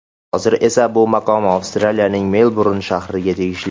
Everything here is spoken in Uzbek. Hozir esa bu maqom Avstraliyaning Melburn shahriga tegishli.